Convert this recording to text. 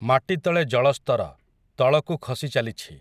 ମାଟିତଳେ ଜଳସ୍ତର, ତଳକୁ ଖସିଚାଲିଛି ।